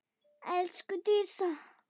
Elsku Dísa.